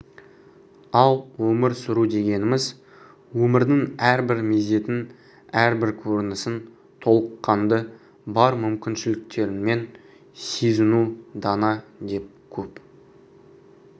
ал өмір сүру дегеніміз өмірдің әрбір мезетін әрбір көрінісін толыққанды бар мүмкіншіліктеріңмен сезіну дана деп көп